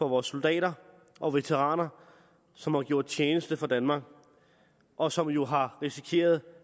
vores soldater og veteraner som har gjort tjeneste for danmark og som jo har risikeret